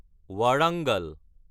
ৱাৰাঙাল